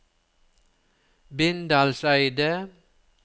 Bindalseidet